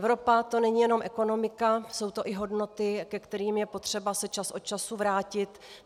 Evropa, to není jenom ekonomika, jsou to i hodnoty, ke kterým je potřeba se čas od času vrátit.